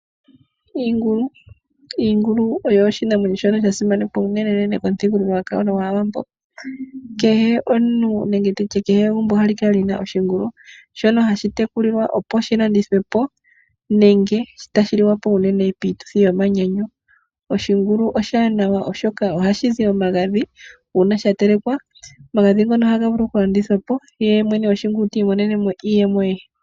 Iingulu oyo oshinamwenyo shono sha simana unene pamuthigululwakalo gwAawambo kehe omuntu nenge nditye kehe egumbo ohali kala li na oshingulu shono hashi tekulilwa opo shilandithwe po nenge tashi li wa po unene piituthi yomanyanyu. Oshingulu oshiwanawa oshoka ohashi zi omagadhi uuna sha telekwa. Omagadhi ngono ohaga vulu okulanditha po ye mwene goshingulu ti imonenemo iiyemo ye.